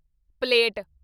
plate